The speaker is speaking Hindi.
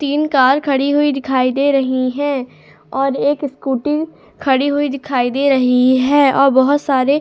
तीन कार खड़ी हुई दिखाई दे रही हैं और एक स्कूटी खड़ी हुई दिखाई दे रही है और बहुत सारे --